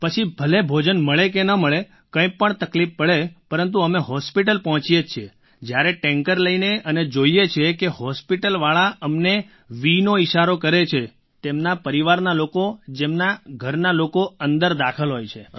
પછી ભલે ભોજન મળે કે ન મળે કંઈ પણ તકલીફ પડે પરંતુ અમે હૉસ્પિટલ પહોંચીએ છીએ જ્યારે ટૅન્કર લઈને અને જોઈએ છીએ કે હૉસ્પિટલવાળા અમને vનો ઈશારો કરે છે તેમના પરિવારના લોકો જેમના ઘરના લોકો અંદર દાખલ હોય છે